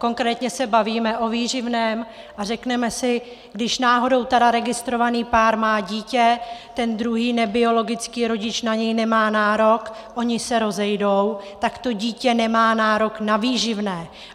Konkrétně se bavíme o výživném a řekneme si - když náhodou tedy registrovaný pár má dítě, ten druhý, nebiologický rodič na něj nemá nárok, oni se rozejdou, tak to dítě nemá nárok na výživné.